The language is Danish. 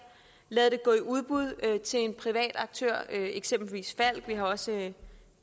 lade det gå i udbud til en privat aktør eksempelvis falck vi har også